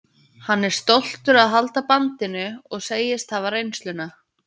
Hann er stoltur að halda bandinu og segist hafa reynsluna.